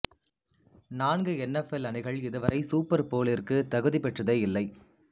நான்கு N F L அணிகள் இதுவரை சூப்பர் போலிற்கு தகுதி பெற்றதே இல்லை